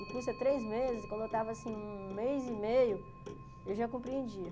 O curso é três meses, e quando eu estava, assim, um mês e meio, eu já compreendia.